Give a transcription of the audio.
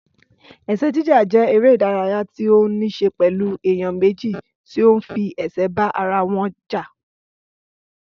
Ẹ̀sẹ́ jíjà jẹ́ eré ìdárayá tí ó nííṣe pẹ̀lú èèyàn méjì tí ó ń fi ẹ̀sẹ́ bá ara wọn jà